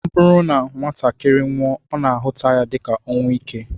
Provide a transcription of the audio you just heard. Ọ bụrụ na nwatakịrị nwụọ, a na-ahụta ya dịka ọnwụ ike